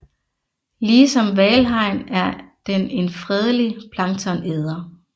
Ligesom hvalhajen er den en fredelig planktonæder